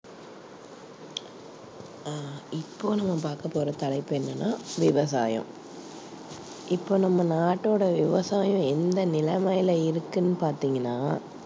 அஹ் இப்போ நம்ம பார்க்கப் போற தலைப்பு என்னன்னா விவசாயம். இப்போ நம்ம நாட்டோட விவசாயம் எந்த நிலைமையில இருக்குன்னு பார்த்தீங்கன்னா